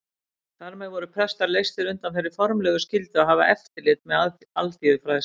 Þar með voru prestar leystir undan þeirri formlegu skyldu að hafa eftirlit með alþýðufræðslu.